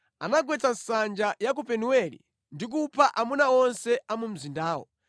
Anagwetsa nsanja ya ku Penueli ndi kupha amuna onse a mu mzindawo.